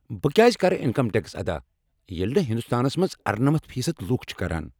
بہٕ کیٛاز کرٕ انکم ٹیکس ادا ییٚلہ نہٕ ہنٛدوستانس منٛز ارنٔمتھ فی صد لوک چھ کران؟